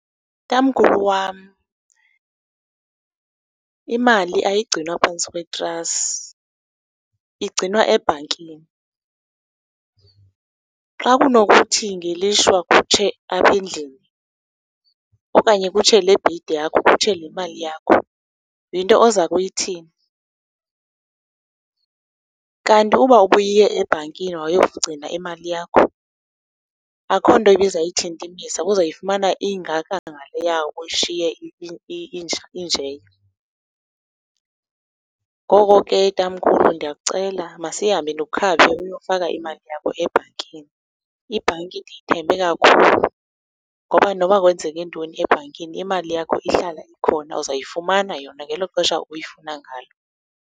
Tamkhulu wam, imali ayigcinwa phantsi kwetrasi, igcinwa ebhankini. Xa kunokuthi ngelishwa kutshe apha endlini okanye kutshe le bhedi yakho kutshe le mali yakho, yinto oza kuyithini? Kanti uba ubuye ebhankini wayogcina imali yakho, akho nto ibizayuthintimisa, ubuzawuyifumana ingaka ngaleya uyishiye injeya. Ngoko ke, tamkhulu ndiyakucela masihambe ndikukhaphe uyokufaka imali yakho ebhankini. Ibhanki ndiyithembe kakhulu ngoba noba kwenzeke ntoni ebhankini imali yakho ihlala khona, uzawuyifumana yona ngelo xesha uyifuna ngayo.